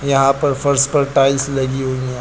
यहां पर फर्श पर टाइल्स लगी हुई हैं।